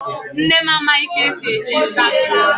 Nne m amaghị ka esi eji Instagram.